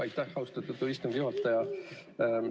Aitäh, austatud istungi juhataja!